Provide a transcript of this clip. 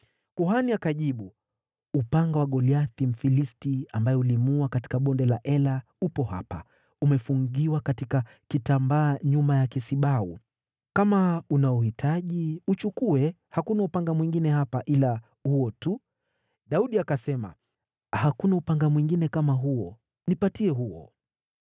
Kuhani akajibu, “Upanga wa Goliathi Mfilisti, ambaye ulimuua katika Bonde la Ela, upo hapa, umefungiwa katika kitambaa nyuma ya kisibau. Kama unauhitaji, uchukue, hakuna upanga mwingine hapa ila huo tu.” Daudi akasema, “Hakuna upanga mwingine kama huo. Nipatie huo.”